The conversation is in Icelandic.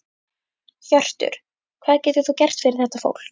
Hjörtur: Hvað getur þú gert fyrir þetta fólk?